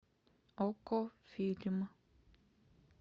окко фильм